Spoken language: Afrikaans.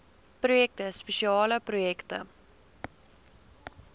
projekte spesiale projekte